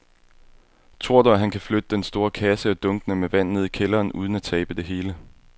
Tror du, at han kan flytte den store kasse og dunkene med vand ned i kælderen uden at tabe det hele?